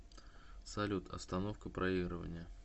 салют остановка проигрывания